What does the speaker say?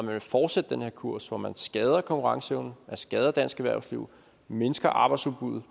vil fortsætte den her kurs hvormed man skader konkurrenceevnen skader dansk erhvervsliv mindsker arbejdsudbuddet